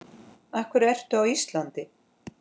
Af hverju ertu á Íslandi?